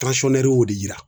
y'o de yira